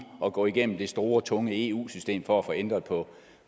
at gå igennem det store tunge eu system for at få ændret på